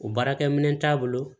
O baarakɛminɛn t'a bolo